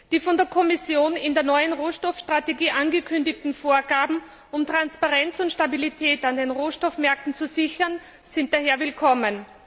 Die von der Kommission in der neuen Rohstoffstrategie angekündigten Vorgaben, um Transparenz und Stabilität auf den Rohstoffmärkten zu sichern, sind daher willkommen.